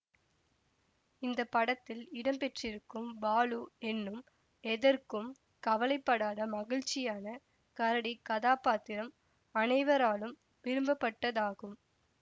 இந்த படத்தில் இடம் பெற்றிருக்கும் பாலு என்னும் எதற்கும் கவலைப்படாத மகிழ்ச்சியான கரடிக் கதாபாத்திரம் அனைவராலும் விரும்பப்பட்டதாகும்